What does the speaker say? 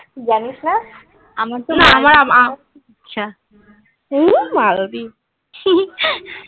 জানিস না? . আমার আচ্ছা